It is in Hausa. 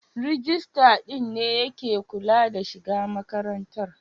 Rijistar din ne ya ke kula da shiga makarantar?